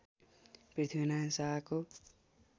पृथ्वीनारायण शाहको